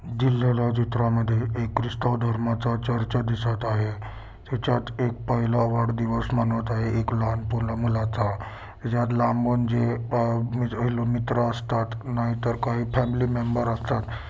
दिलेल्या चित्रामध्ये एक ख्रिस्त धर्माचा चर्चा दिसत आहे त्याच्यात एक पहिला वाढदिवस मनवत आहे एक लहान मुलाचा ज्यात लांबून जे इजराइल मित्र असतात नाहीतर काही फॅमिली मेंबर असतात.